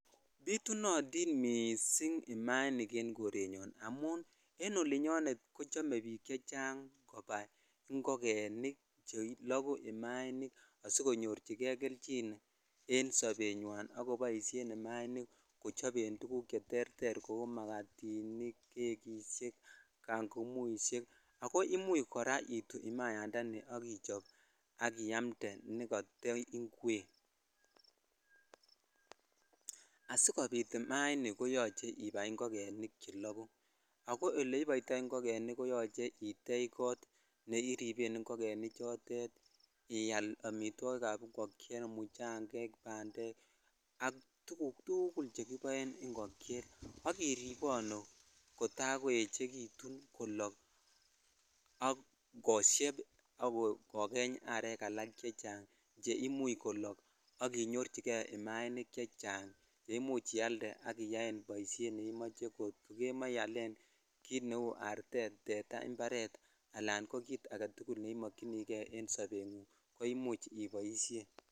Butunotin missing imainik en korenyon amun en olinyon kochome bik chechang kobai ingogenik che lokuu imainik sikochinen kei kelchin en sobenywan akoboishen imainik kochoben tuguk che terter kou magatinij ,kekishej ,jangumushej ak imuch itui imayandani ak ichop ak iyamde ne kata ingwek (puse (asikopit imainik koyoche ibai ingogenik chelokuu ak oleiboitoi ingogenik ko yoche itech kot ne iripen ingogenik chotet ial amitwokik ab ingogenik muchangek ,bandek ak tuguk tukul chekiboen ingogenik ak iriponu kota koechekitun ak kolok ak koshep ak kogeny arek alak chechang che imuch kolok ak inyorchikei imainik chechang cheimuche ialde ak iyaen boishet neimoche kot kokemoche ialen kit neu artet ,tetaa imparet ak ko kit agetukul ne imokchinikei en sobengunng ko imuch iboishen.